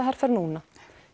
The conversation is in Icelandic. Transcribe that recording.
herferðina núna